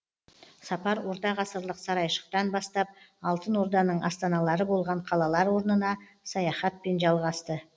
сапар ортағасырлық сарайшықтан бастап алтын орданың астаналары болған қалалар орнына саяхатпен жалғасты